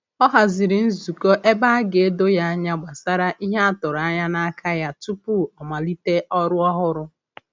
Ọ haziri nzukọ ebe a ga-edo ya anya gbasara ihe a tụrụ anya n'aka ya tupu ọ malite ọrụ ọhụrụ ahụ.